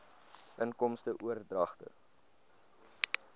inkomste oordragte